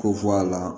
Ko fɔ a la